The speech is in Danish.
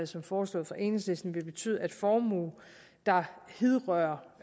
som foreslås af enhedslisten vil betyde at formue der hidrører